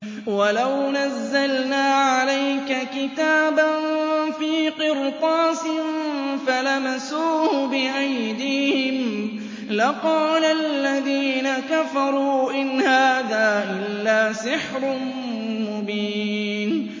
وَلَوْ نَزَّلْنَا عَلَيْكَ كِتَابًا فِي قِرْطَاسٍ فَلَمَسُوهُ بِأَيْدِيهِمْ لَقَالَ الَّذِينَ كَفَرُوا إِنْ هَٰذَا إِلَّا سِحْرٌ مُّبِينٌ